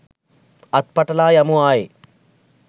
අත් පටලා යමු ආයේ